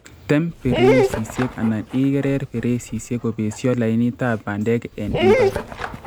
Tem pereisisiek anan igereer pereisisiek kobesyo lainitab bandek en mbar